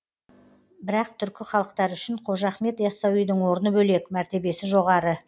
бірақ түркі халықтары үшін қожа ахмет ясауидің орны бөлек мәртебесі жоғары